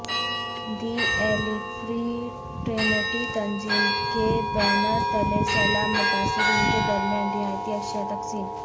دی Alig fraternity تنظیم کے banner تلے سیلاب متاثرین کے درمیان راحتی اشیاء تقسیم